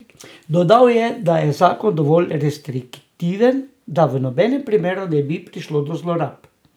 Dodal je, da je zakon dovolj restriktiven, da v nobenem primeru ne bi prišlo do zlorab.